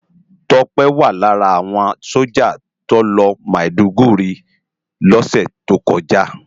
Tope wá lárà áwòn sójá tó lòsi Mádúgùri lòsè tókòjá